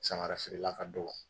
Samagara feerela ka dɔgɔ